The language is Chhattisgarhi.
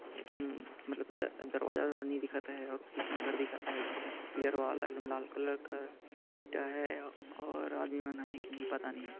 एकदम मतलब द दरवाज़ा नई दिखत अहे और पीछे में घर दिखत है पिलर वॉल एकदम लाल कलर का ईटा है और आदमी मन आहे के नहीं पता नहीं--